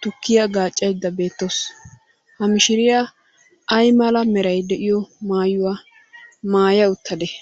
tukkiya gaaccaydda beettawusu. Ha mishiriya ay mala meray de"iyo maayuwa maaya uttadee?